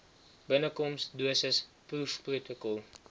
binnekoms dosis proefprotokol